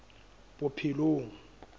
bophelong